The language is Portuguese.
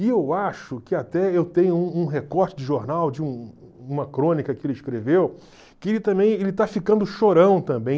E eu acho que até eu tenho um um recorte de jornal, de uma crônica que ele escreveu, que ele também ele esta ficando chorão também.